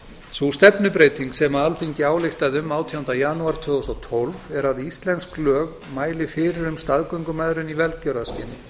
sú stefnubreyting sem alþingi ályktaði um átjándu janúar tvö þúsund og tólf er að íslensk lög mæli fyrir um staðgöngumæðrun í velgjörðarskyni